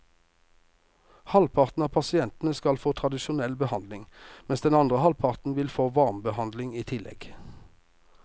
Halvparten av pasientene skal få tradisjonell behandling, mens den andre halvparten vil få varmebehandling i tillegg.